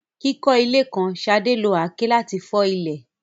Kíkọ́ ilé kan, Sade lo àáké láti fọ́ ilẹ̀.